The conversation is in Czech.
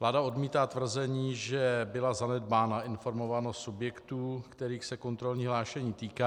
Vláda odmítá tvrzení, že byla zanedbána informovanost subjektů, kterých se kontrolní hlášení týká.